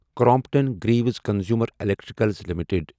Crompton Greaves consumer electrical limited